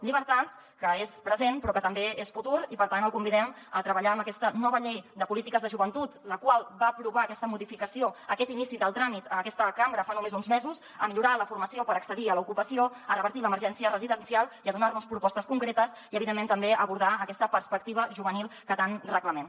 llibertat que és present però que també és futur i per tant el convidem a treballar en aquesta nova llei de polítiques de joventut la qual va aprovar aquesta modificació aquest inici del tràmit aquesta cambra fa només uns mesos a millorar la formació per accedir a l’ocupació a revertir l’emergència residencial i a donar nos propostes concretes i evidentment també a abordar aquesta perspectiva juvenil que tant reclamem